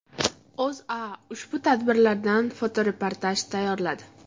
O‘zA ushbu tadbirlardan fotoreportaj tayyorladi .